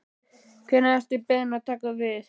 Hvenær ert þú beðinn að taka við?